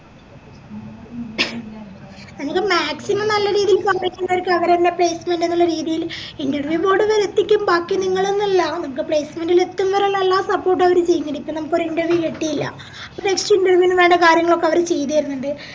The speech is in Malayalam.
അവര് maximum നല്ല രീതില് complete ചെയ്യുന്നവർക്ക് അവരെന്നെ placement എന്ന രീതിയില് interview board വരെ എത്തിക്കും ബാക്കി നിങ്ങള്ന്ന് അല്ല നമുക്ക് placement ഇല് എത്തുന്നവരെ ഇള്ള എല്ലാ support അവര് ചെയ്തിരിക്കും നമുക്കോര് interview കിട്ടിയില്ല next interview ന് വേണ്ട കാര്യങ്ങളൊക്കെ അവര് ചെയ്തേര്ന്ന്ണ്ട്